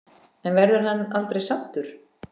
En verður hann aldrei saddur?